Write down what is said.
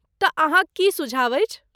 तँ, अहाँक की सुझाव अछि?